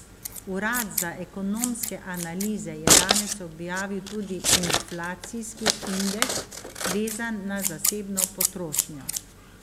Urad za ekonomske analize je danes objavil tudi inflacijski indeks, vezan na zasebno potrošnjo.